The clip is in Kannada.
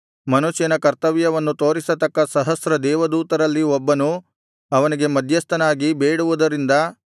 ಮನುಷ್ಯನ ಕರ್ತವ್ಯವನ್ನು ತೋರಿಸತಕ್ಕ ಸಹಸ್ರ ದೇವದೂತರಲ್ಲಿ ಒಬ್ಬನು ಅವನಿಗೆ ಮಧ್ಯಸ್ಥನಾಗಿ ಬೇಡುವುದರಿಂದ